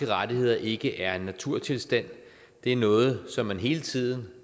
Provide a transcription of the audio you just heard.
rettigheder ikke er en naturtilstand det er noget som man hele tiden